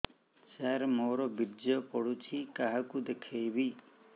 ସାର ମୋର ବୀର୍ଯ୍ୟ ପଢ଼ୁଛି କାହାକୁ ଦେଖେଇବି